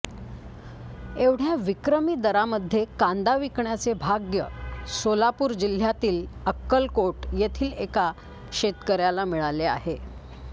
एवढ्या विक्रमी दरामध्ये कांदा विकण्याचे भाग्य सोलापूर जिल्हयातील अक्कलकोट येथील एका शेतकऱ्याला मिळाले आहे